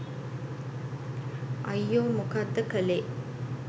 අයියෝ මොකක්ද කලේ